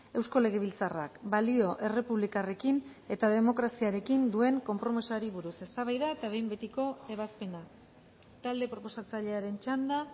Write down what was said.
eusko legebiltzarrak balio errepublikarrekin eta demokraziarekin duen konpromisoari buruz eztabaida eta behin betiko ebazpena talde proposatzailearen txanda